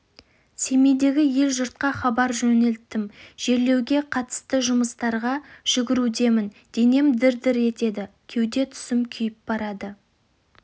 семейдегі ел-жұртқа хабар жөнелтіп жерлеуге қатысты жұмыстарға жүгірудемін денем дір дір етеді кеуде тұсым күйіп бара